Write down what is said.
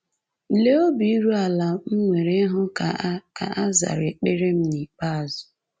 Lee obi iru ala m nwere ịhụ ka a ka a zara ekpere m n’ikpeazụ.